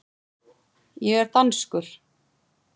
Ég er danskur.